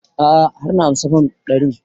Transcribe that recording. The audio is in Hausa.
A'a har na ansa fam ɗarin